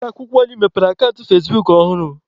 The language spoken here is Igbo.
Ụlọ akwụkwọ anyị mepere akant fazebuk ọhụrụ